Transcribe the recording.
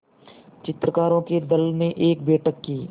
चित्रकारों के दल ने एक बैठक की